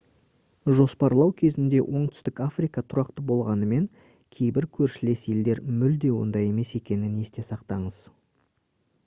жоспарлау кезінде оңтүстік африка тұрақты болғанымен кейбір көршілес елдер мүлде ондай емес екенін есте сақтаңыз